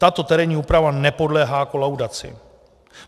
Tato terénní úprava nepodléhá kolaudaci.